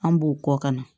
An b'u kɔ kana